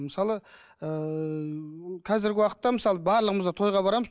мысалы ііі қазіргі уақытта мысалы барлығымыз да тойға барамыз